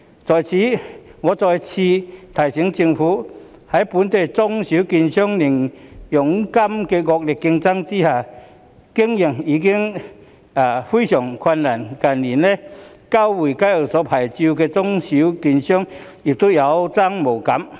在此，我再次提醒政府，本地中小券商在零佣金的惡性競爭下，經營已經非常困難，近年交回交易牌照的中小券商亦有增無減。